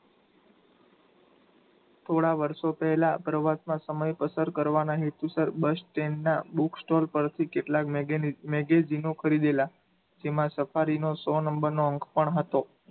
થોડા વર્ષો પહેલા પ્રવાસમાં સમય પસાર કરવાના હેતુસર bus stand ના book store પરથી કેટલાક magazine ખરીદેલા. તેમાં safari નો સો number નો અંક પણ હતો.